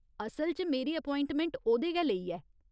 असल च, मेरी एप्याइंटमैट ओह्‌दे गै लेई ऐ।